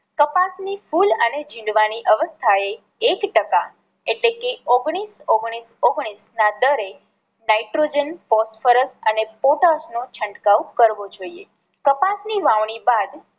કપાસ ની ફૂલ અને જીંડવા ની અવસ્થા એ એક ટકા એટલે કે ઓગળીસ ઓગળીસ ઓગળીસ ના દરે નાઇટ્રોજન ફૉસ્ફરસ અને પોટાસ નો છંટકાવ કરવો જોઈએ.